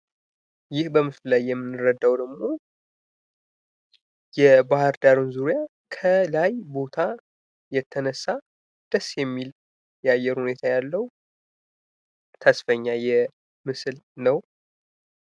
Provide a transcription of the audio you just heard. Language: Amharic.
ይህ በምስሉ ላይ የምንረዳው ደግሞ የባህር ዳር ዙሪያ ከላይ ቦታ የተነሳ ደስ የሚል የአየር ሁኔታ ያለው ተስፋኛ ምስል ነው ።